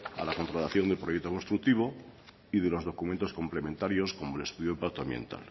a la contratación del proyecto constructivo y de los documentos complementarios como el estudio de impacto ambiental